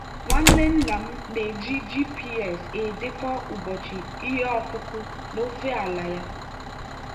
nwanne nna m na-eji gps edekọ ụbọchị ihe ọkụkụ n'ofe ala ya.